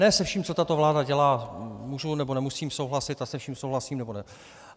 Ne se vším, co tato vláda dělá, můžu nebo nemusím souhlasit a se vším souhlasím nebo ne.